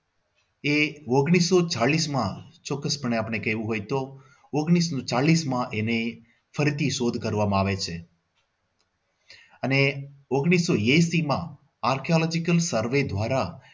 એ ઓન્ગ્લીસો ચાલીસમાં ચોક્કસપણે આપણે કહેવું હોયતો ઓન્ગ્લીસો ચાલીસમાં એની ફરીથી શોધ કરવામાં આવે છે અને ઓન્ગ્લીસો એસીમાં artology survey દ્વારા